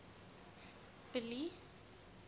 billy